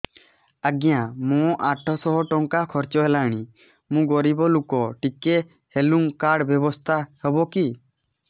ଆଜ୍ଞା ମୋ ଆଠ ସହ ଟଙ୍କା ଖର୍ଚ୍ଚ ହେଲାଣି ମୁଁ ଗରିବ ଲୁକ ଟିକେ ହେଲ୍ଥ କାର୍ଡ ବ୍ୟବସ୍ଥା ହବ କି